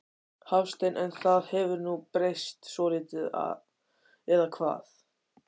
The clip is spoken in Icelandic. Hafsteinn: En það hefur nú breyst svolítið eða hvað?